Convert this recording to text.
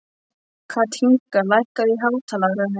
Kathinka, lækkaðu í hátalaranum.